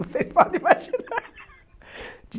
Vocês podem imaginar.